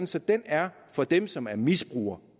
så den er for dem som er misbrugere